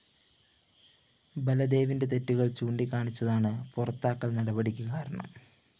ബലദേവിന്റെ തെറ്റുകള്‍ ചൂണ്ടിക്കാണിച്ചതാണ് പുറത്താക്കല്‍ നടപടിക്ക് കാരണം